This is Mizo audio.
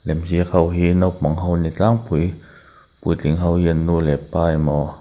lem ziak ho hi naupang ho an ni tlangpui puitling ho hi an nu leh pa emaw.